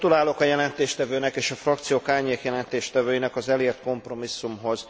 Gratulálok a jelentéstevőnek és a frakciók árnyékjelentéstevőinek az elért kompromisszumhoz.